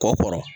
Kɔ kɔrɔ